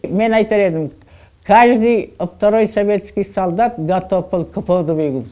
мен айтар едім каждый второй советский солдат готов был к подвигу